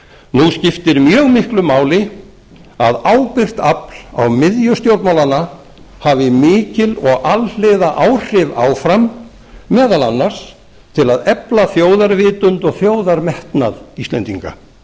nú skiptir mjög miklu máli að ábyrgt afl á miðju stjórnmálanna hafi mikil og alhliða áhrif áfram meðal annars til að efla þjóðarvitund og þjóðarmetnað íslendinga